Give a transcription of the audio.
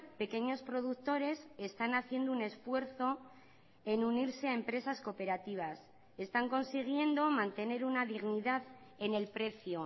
pequeños productores están haciendo un esfuerzo en unirse a empresas cooperativas están consiguiendo mantener una dignidad en el precio